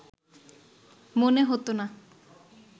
মনে হতো না